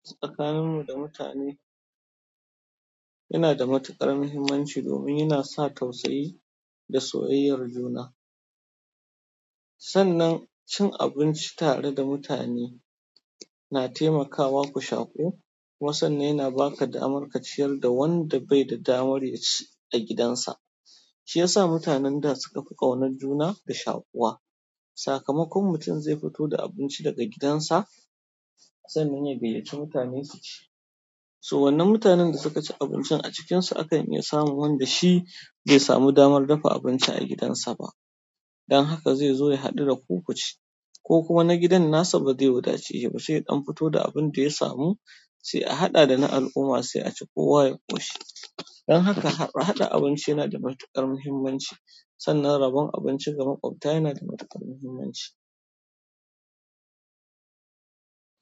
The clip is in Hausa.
Tsakanin mu da mutane yanada matuƙar mahimmanci domin yana sa tausayi, da soyyayar juna. Sannan cin abinci tare da mutane na taimakawa ku shaƙu. Kuma sanna yana baka damar ka ciyar da wanda bai da damar ya ci a gidansa. Shiyasa mutanen da suka fi ƙaunar juna da shakuwa. Sakamakon mutum zai fito da abinci daga gidansa sannan ya gayyaci mutane su ci. So wannan mutanen da suka ci abincin a cikinsu akan iya samun wanda shi bai samu damar dafa abinci a gidansa ba. Dan haka zai zo ya haɗu daku ku ci ko kuma wani gidan nasa ba zai yi futa ci sa ba sai ya dan fito da abinda ya samu sai a haɗa da na al'umma sai a ci kowa ya ƙoshi. Dan haka haɗa haɗa abinci yana da matuƙar muhimmanci sannan rabon abinci ga makwabta yana da matuƙar muhimmanci.